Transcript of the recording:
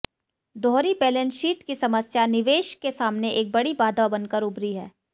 दोहरी balance sheet की समस्या निवेश के सामने एक बड़ी बाधा बनकर उभरी है